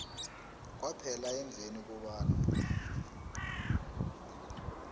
kwaphela emveni kobana